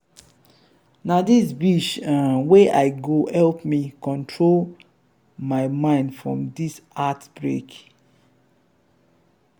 na dis beach um wey i go help me comot my mind from dis heart-break.